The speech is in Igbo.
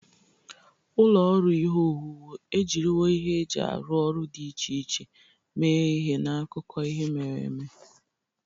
Ụlọ ọrụ ihe owuwu ejiriwo ihe eji arụ ọrụ dị iche iche mee ihe n'akụkọ ihe mere eme.